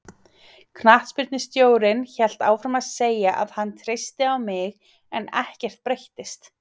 Knattspyrnustjórinn hélt áfram að segja að hann treysti á mig en ekkert breyttist.